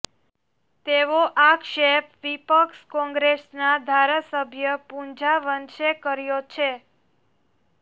તેવો આક્ષેપ વિપક્ષ કોંગ્રેસના ધારાસભ્ય પૂંજા વંશે કર્યો છે